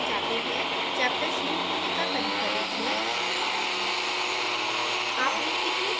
अब अगले पेज पर जाते हैं chapter शुरू होने का तरीका देखें